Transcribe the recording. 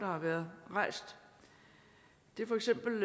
har været rejst det er for eksempel